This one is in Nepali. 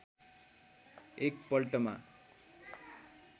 एक पल्टमा